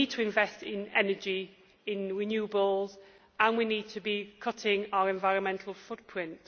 in. We need to invest in energy and renewables, and we need to be cutting our environmental footprint.